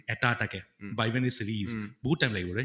এটা এটাকে বা even a series, বহুত time লাগিব right?